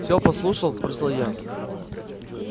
все послушал спросил я